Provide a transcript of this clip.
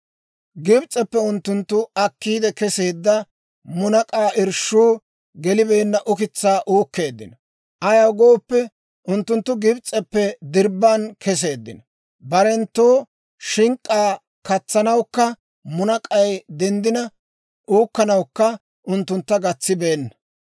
Gibs'eppe unttunttu akkiide keseedda munak'aa irshshuu gelibeenna ukitsaa uukkeeddino; ayaw gooppe, unttunttu Gibs'eppe dirbban keseeddino; barenttoo shink'k'aa katsanawukka, munak'k'ay denddina uukkanawukka unttuntta gatsibeenna.